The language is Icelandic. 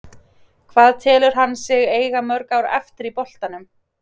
Hvað telur hann sig eiga mörg ár eftir í boltanum?